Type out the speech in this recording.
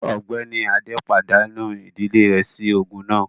Ọ̀gbẹ́ni Adé pàdánù ìdílé rẹ̀ sí ogun náà